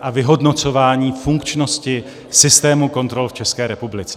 a vyhodnocování funkčnosti systému kontrol v České republice.